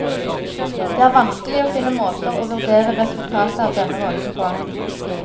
Det er vanskelig å finne måter å vurdere resultatet av denne rollen på.